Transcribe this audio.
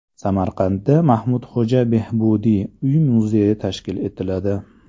Samarqandda Mahmudxo‘ja Behbudiy uy-muzeyi tashkil etiladi.